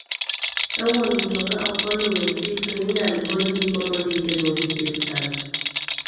Ka wuon mtoka ok oluwe chik to inyal gol ndiko mondikego gi sirkal.